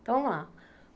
Então lá.